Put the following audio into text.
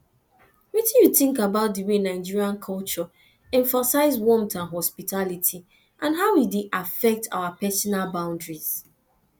wetin you think about di way nigerian culture emphasize warmth and hospitality and how e dey affect our personal boundaries